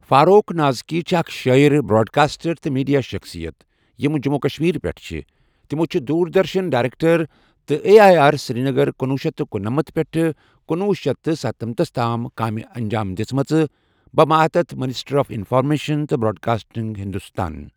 فاروق نازکی چھِ اَکھ شٲعر، براڈکاسٹر تہٕ میٖڈیا شخصیت یِمہٕ جموں و کشمیر پؠٹھ چھ تِمو چھےٚ دوردرشن ڈؠریٚکٹر تہٕ آے ایی آر سرینگر کنۄہ شیتھ تہٕ کنُنمنتھ پؠٹھہٕ کنۄہ شیتھ ستَنمنتھ تام کامہِ انجام دِژمَژٕ بَہ ماتحت مِنِسٹری آف اِنفارمیشن تہٕ براڈکاسٹِنٛگ ہندوستان۔